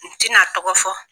N ti na tɔgɔ fɔ.